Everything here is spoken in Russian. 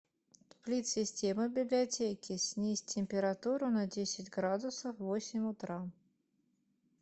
сплит система в библиотеке снизь температуру на десять градусов в восемь утра